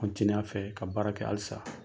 a fɛ ka baara kɛ halisa.